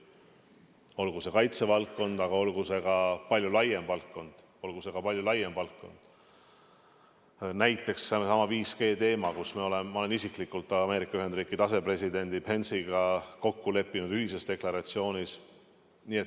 Olgu see kaitsevaldkond või olgu see ka palju laiem valdkond, näiteks seesama 5G-teema, kus ma olen isiklikult Ameerika Ühendriikide asepresidendi Pence'iga kokku leppinud ühises deklaratsioonis.